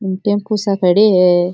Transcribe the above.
Tempo सा खड़े है।